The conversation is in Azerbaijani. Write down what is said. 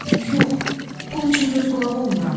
Yox, pul üçün göz qulağı olmuram.